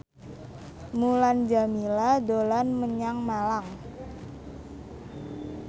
Mulan Jameela dolan menyang Malang